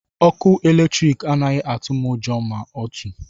Ọkụ eletrik anaghị atụ m ụjọ ma otu.